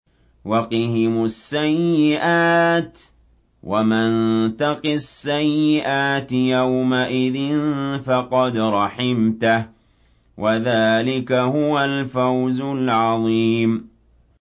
وَقِهِمُ السَّيِّئَاتِ ۚ وَمَن تَقِ السَّيِّئَاتِ يَوْمَئِذٍ فَقَدْ رَحِمْتَهُ ۚ وَذَٰلِكَ هُوَ الْفَوْزُ الْعَظِيمُ